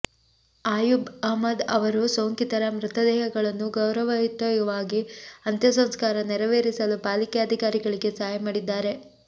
ಆಯುಬ್ ಅಹ್ಮದ್ ಅವರು ಸೋಂಕಿತರ ಮೃತದೇಹಗಳನ್ನು ಗೌರವಯುತವಾಗಿ ಅಂತ್ಯಸಂಸ್ಕಾರ ನೆರವೇರಿಸಲು ಪಾಲಿಕೆ ಅಧಿಕಾರಿಗಳಿಗೆ ಸಹಾಯ ಮಾಡಿದ್ದಾರೆ